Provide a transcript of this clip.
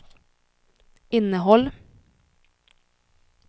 innehåll